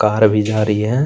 Car भी जा रही है।